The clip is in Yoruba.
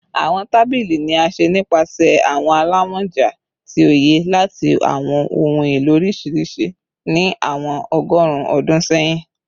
Awọn tabili ni a ṣe nipasẹ awọn alamọja ti oye lati awọn ohun elo oriṣiriṣi ni awọn ọgọrun ọdun sẹyin